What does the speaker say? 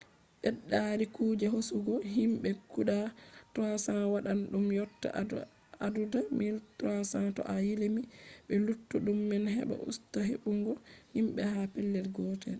ɓeddari kuje hosugo himɓe guda 300 waɗan ɗum yotta adadu 1300 to a limi be luttuɗum man heɓa usta hebbungo himɓe ha pellel gotel